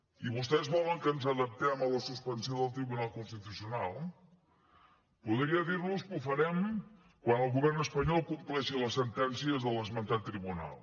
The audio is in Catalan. i vostès volen que ens adaptem a la suspensió del tribunal constitucional podria dir los que ho farem quan el govern espanyol compleixi les sentències de l’esmentat tribunal